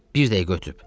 Bir dəqiqə ötüb.